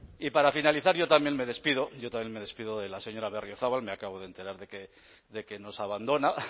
y para finalizar yo también me despido yo también me despido de la señora berriozabal me acabo de enterar de que nos abandona